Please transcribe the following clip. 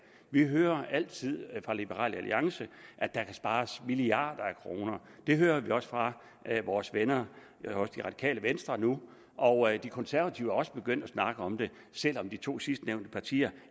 vi hører altid fra liberal alliance at der kan spares milliarder af kroner det hører vi også fra vores venner i venstre nu og de konservative er også begyndt at snakke om det selv om de to sidstnævnte partier